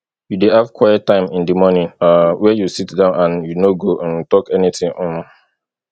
you dey have quiet time in di morning um wey you sit down and you no go um talk any thing um